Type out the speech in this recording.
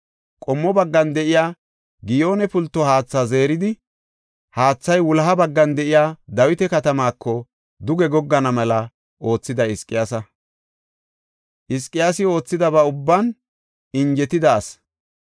Qommo baggan de7iya Giyoone pulto haatha zeeridi, haathay wuloha baggan de7iya Dawita katamaako duge goggana mela oothiday Hizqiyaasa. Hizqiyaasi oothidaba ubban injetida asi.